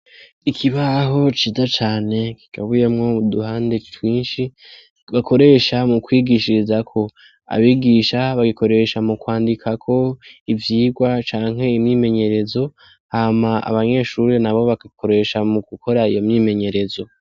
Ikibaho ciza cane kigabuyemwo uduhande twishi bakoresha mu kwigishirizako abigisha bagikoresha mu kwandikira ko ivyigwa canke imyimenyerezo hama abanyeshure abanyeshure bagakoresha mu gukora iyo imyimenyerezo.